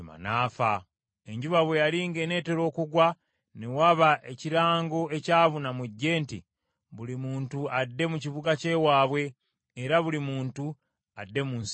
Enjuba bwe yali ng’eneetera okugwa, ne waba ekirango ekyabuna mu ggye nti, “Buli muntu adde mu kibuga ky’ewaabwe, era buli muntu adde mu nsi y’ewaabwe!”